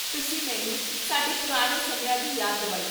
ਤੁਸੀਂ ਮੈਨੂੰ ਸਾਡੇ ਪੁਰਾਣੇ ਸਮਿਆਂ ਦੀ ਯਾਦ ਦਿਵਾਈ